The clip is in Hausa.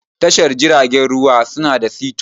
Tashar jiragen ruwa su na da sito.